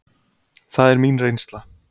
Það er mín reynsla.